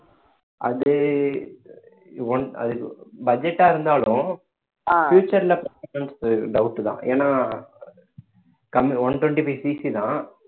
அது one அது budget ஆ இருந்தாலும் future ல doubt தான் ஏன்னா கம்மி one twenty-fiveCC தான்